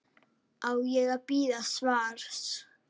Á ég að bíða svars?